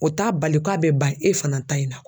O t'a bali k'a bɛ ban e fana ta in na.